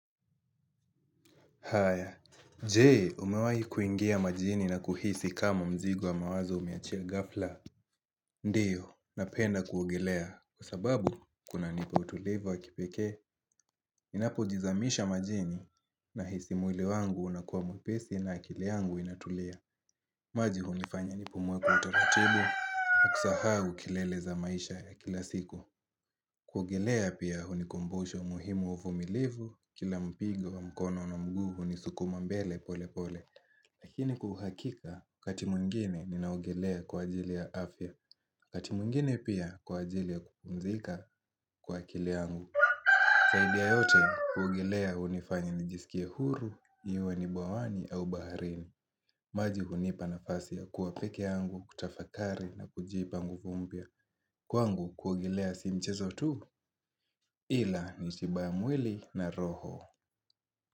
Haya. Je, umewai kuingia majini na kuhisi kama mzigo wa mawazo umeachia ghafla? Ndiyo, napenda kuogelea. Kwa sababu, kunanipa utulivu wa kipeke, inapojizamisha majini nahisi mwili wangu unakuwa mwepesi na akili yangu inatulia. Maji hunifanya nipumuwe kwa utaratibu, na kusahau kelele za maisha ya kila siku. Kuogelea pia hunikumbushoa muhimu uvumilivu Kila mpigo wa mkono na mguu hunisukuma mbele pole pole Lakini kwa uhakika wakati mwingine ninaogelea kwa ajili ya afya wakati mwingine pia kwa ajili ya kupumzika kwa akili angu zaidi ya yote kuogelea hunifanya nijisikie huru iwe ni bwawani au baharini maji hunipa nafasi ya kuwa pekee yangu kutafakari na kujipa nguvu mpya Kwangu kuogelea si mchezo tu ila ni tiba ya mwili na roho.